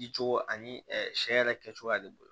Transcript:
Dicogo ani sɛ yɛrɛ kɛcogoya de bolo